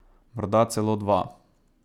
Morda celo dva.